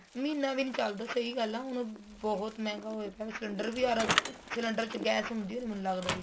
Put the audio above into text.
ਮਹੀਨਾ ਵੀ ਨਹੀਂ ਚੱਲਦਾ ਸਹੀਂ ਗੱਲ ਆ ਹੁਣ ਬਹੁਤ ਮਹਿੰਗਾ ਹੋਇਆ ਪਇਆ cylinder ਵੀ ਅਰ cylinder ਚ ਗੈਸ ਹੁੰਦੀ ਆ ਮੈਨੂੰ ਲੱਗਦਾ ਵਿੱਚ